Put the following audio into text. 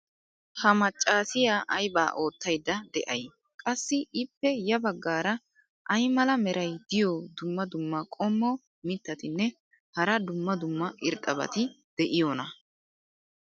ha macaassiya aybaa ootaydda de'ay? qassi ippe ya bagaara ay mala meray diyo dumma dumma qommo mitattinne hara dumma dumma irxxabati de'iyoonaa?